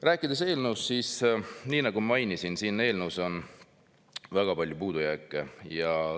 Rääkides eelnõust, siis nagu ma mainisin, on siin eelnõus väga palju puudujääke.